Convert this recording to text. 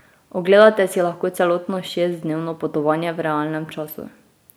Ogledate si lahko celotno šestdnevno potovanje v realnem času.